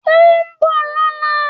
Ó nbò lóla